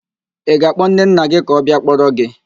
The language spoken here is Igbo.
Ị ga-akpọ nnenna gị ka ọ bịa kpọrọ gị?